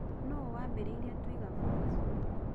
Nũũ waambĩrĩirie Twiga Foods?